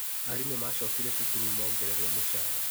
Arimũ macokire cukuru mongererwo mũcara